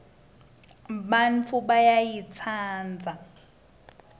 bantfu bayayitsandza